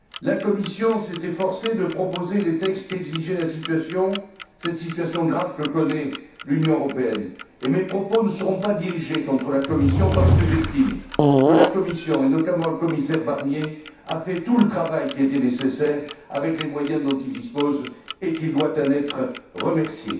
La Commission s'est efforcée de proposer les textes qu'exigeait la situation, cette situation grave que connaît l'Union européenne, et mes propos ne seront pas dirigés contre la Commission parce que j'estime que la Commission, et notamment le commissaire Barnier, a fait tout le travail qui était nécessaire, avec les moyens dont il dispose et qu'il doit en être remercié.